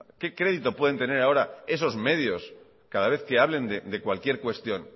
qué crédito pueden tener ahora esos medios cada vez que hablen de cualquier cuestión